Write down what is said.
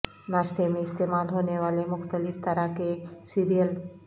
ناشتے میں استعمال ہونے والے مختلف طرح کے سیریل